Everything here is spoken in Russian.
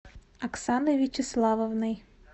оксаной вячеславовной